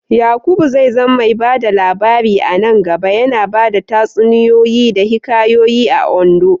Yakubu zai zama mai ba da labari a nan gaba, yana bada tatsuniyoyi da hikayoyi a Ondo.